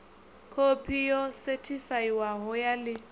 khophi yo sethifaiwaho ya ḽi